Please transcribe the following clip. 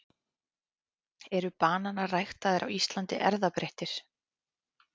eru bananar ræktaðir á íslandi erfðabreyttir